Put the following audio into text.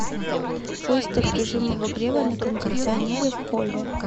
выставь режим обогрева на кондиционере в холле